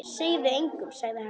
Segðu þetta engum sagði hann.